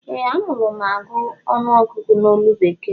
Ee a malu mụ agụ ọnụọgụgụ ná olu bekee